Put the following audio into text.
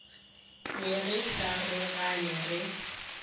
be re sa rogane re